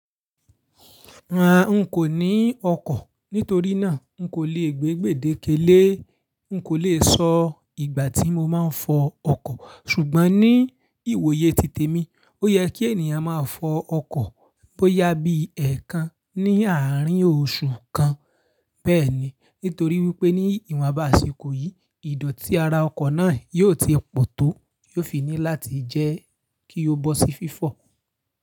Rárá n kò ní ọkọ̀, nítorí náà n kò lè gbé gbèdéke lé, n kò lè sọ ìgbà tí mo máa ń fọ ọkọ̀. Ṣùgbọ́n ní ìwòye titẹ̀ mi, ó yẹ kí ènìyàn máa fọ ọkọ̀ bó yá bí èèkàn ní àárín oṣù kan. Bẹ́ẹ̀ni, nítorí wípé ní ìwọ̀nbá àsìkò yí, ìdọ̀tí ara ọkọ̀ náà yóò ti pọ̀ tó, yóò fi ní láti jẹ́ kí ó bọ́ sí fífọ̀.